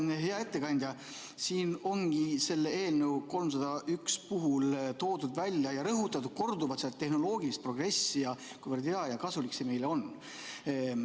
Vaata, hea ettekandja, siin ongi selle eelnõu 301 puhul toodud välja ja korduvalt rõhutatud seda tehnoloogilist progressi ning seda, kuivõrd hea ja kasulik see meile on.